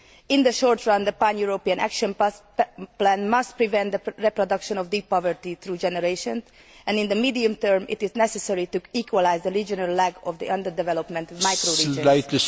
In the short run, the pan European action plan must prevent the reproduction of deep poverty through generations, and in the medium term, it is necessary to equalise the regional lack of the underdevelopment of micro regions.